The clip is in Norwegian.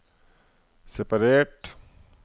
separert